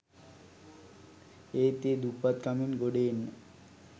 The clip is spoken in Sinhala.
ඒත් ඒ දුප්පත්කමින් ගොඩ එන්න